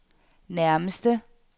nærmeste